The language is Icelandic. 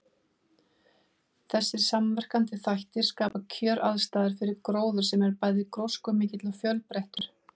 Þessir samverkandi þættir skapa kjöraðstæður fyrir gróður sem er bæði gróskumikill og fjölbreyttur.